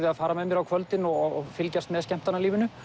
að fara með mér á kvöldin og fylgjast með skemmtanalífinu